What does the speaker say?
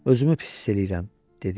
Özümü pis hiss eləyirəm dedi.